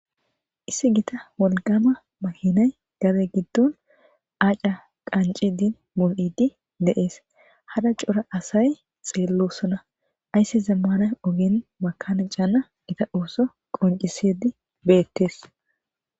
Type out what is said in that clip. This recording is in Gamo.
issi gita wolqama mahinay gade giddon aca qanci din mul7idi deees hada cora asay xeellosona aysse zammana ogen makana caana ita osso qoncisedi beettees